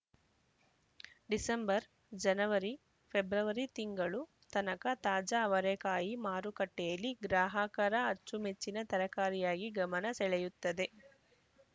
December ಜನವರಿ ಫೆಬ್ರವರಿ ತಿಂಗಳು ತನಕ ತಾಜಾ ಅವರೇಕಾಯಿ ಮಾರುಕಟ್ಟೆಯಲ್ಲಿ ಗ್ರಾಹಕರ ಅಚ್ಚುಮೆಚ್ಚಿನ ತರಕಾರಿಯಾಗಿ ಗಮನ ಸೆಳೆಯುತ್ತದೆ